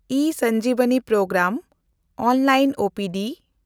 E Sanjeevani program (online O P D)